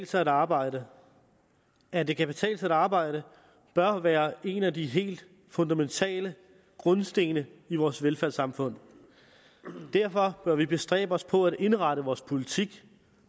sig at arbejde at det kan betale sig at arbejde bør være en af de helt fundamentale grundsten i vores velfærdssamfund derfor bør vi bestræbe os på at indrette vores politik